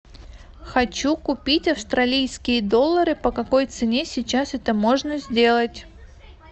хочу купить австралийские доллары по какой цене сейчас это можно сделать